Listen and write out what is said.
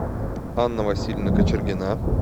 анна васильевна кочергина